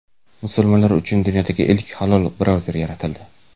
Musulmonlar uchun dunyodagi ilk halol brauzer yaratildi.